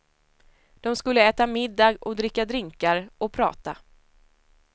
De skulle äta middag och dricka drinkar, och prata.